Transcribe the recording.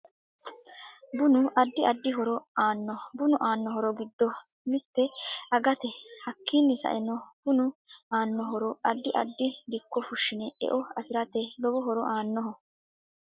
Bunu addi addi horo aanno bunu aano horo giddo mitte agate hakiini sa'enno bunu aano horo ddi addi dikko fushine e'o afirate lowo horo aanoho